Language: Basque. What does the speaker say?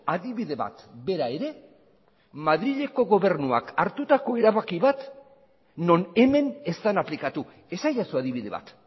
adibide bat bera ere madrileko gobernuak hartutako erabaki bat non hemen ez den aplikatu esadazu adibide bat